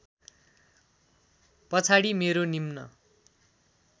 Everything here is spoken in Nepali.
पछाडि मेरो निम्न